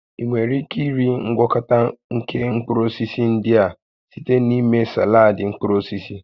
Ị nwere ike iri ngwakọta nke mkpụrụ osisi ndị a site na ịme saladị mkpụrụ osisi